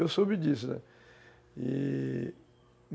Eu soube disso, e